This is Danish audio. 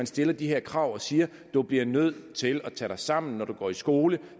stiller de her krav og siger du bliver nødt til at tage dig sammen når du går i skole